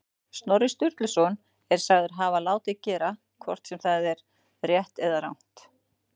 Snorri Sturluson er sagður hafa látið gera, hvort sem það er rétt eða rangt.